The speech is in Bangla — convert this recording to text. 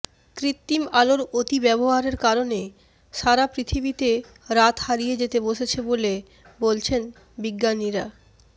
কৃত্রিম আলোর অতিব্যবহারের কারণে সারা পৃথিবীতে রাত হারিয়ে যেতে বসেছে বলে বলছেন বিজ্ঞানীরা বলছেন